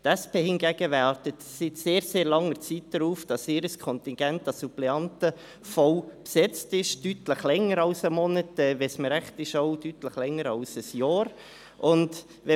Die SP hingegen wartet seit sehr, sehr langer Zeit darauf, dass ihr Kontingent an Suppleanten voll besetzt ist – deutlich länger als seit einem Monat, auch deutlich länger als seit einem Jahr, wenn es mir recht ist.